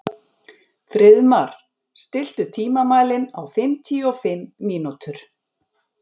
Friðmar, stilltu tímamælinn á fimmtíu og fimm mínútur.